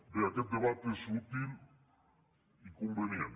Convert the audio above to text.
bé aquest debat és útil i convenient